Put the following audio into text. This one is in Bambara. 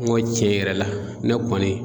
N ko cɛn yɛrɛ la ne kɔni